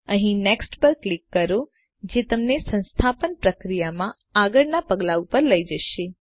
અહીં નેક્સ્ટ પર ક્લિક કરો જે તમને સંસ્થાપન પ્રક્રિયામાં આગળનાં પગલા ઉપર લઇ જશે